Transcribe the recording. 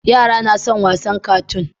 Yara nason wassn katoon